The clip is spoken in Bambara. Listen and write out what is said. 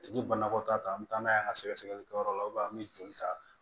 A tigi banakɔtaa ta an bɛ taa n'a ye an ka sɛgɛsɛlikɛyɔrɔ la an bɛ joli ta